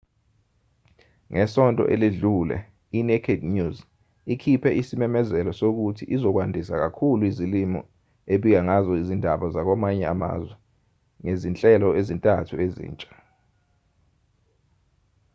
ngesonto eledlule i-naked news ikhiphe isimemezelo sokuthi izokwandisa kakhulu izilimi ebika ngazo izindaba zakwamanye amazwe ngezinhlelo ezintathu ezintsha